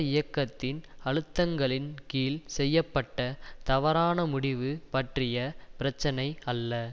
இயக்கத்தின் அழுத்தங்களின் கீழ் செய்ய பட்ட தவறான முடிவு பற்றிய பிரச்சினை அல்ல